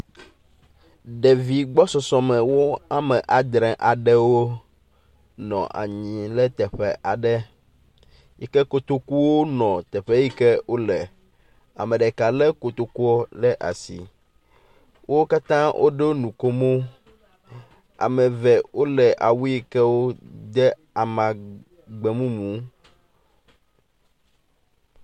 Ɖevi gbɔsɔsɔme wome adre aɖewo nɔ anyi ɖe teƒe aɖe yi ke kotokuwo nɔ teƒe yi ke wole. Ame ɖeka lé kotokua ɖe asi. Wo katã woɖo nukomo. Ame eve wole awu yi ke wode amagbe mumu.